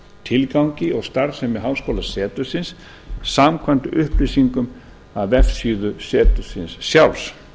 tilgangi og starfsemi háskólasetursins samkvæmt upplýsingum af vefsíðu setursins sjálfs